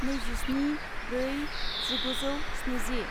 नैजिस्नि ब्रै जिगुजौ स्निजि